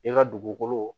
I ka dugukolo